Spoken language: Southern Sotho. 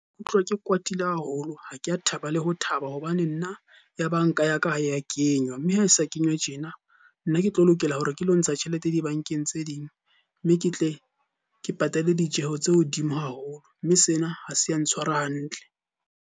Ke utlwa ke kwatile haholo, ha ke a thaba le ho thaba. Hobane nna ya banka ya ka ha ya kenywa. Mme ha e sa kenywa tjena, nna ke tlo lokela hore ke lo ntsha tjhelete dibankeng tse ding mme ke tle ke patale ditjeho tse hodimo haholo. Mme sena ha se ya ntshwara hantle.